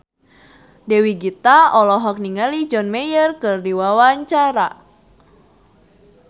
Dewi Gita olohok ningali John Mayer keur diwawancara